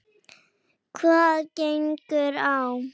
Hvað gengur á!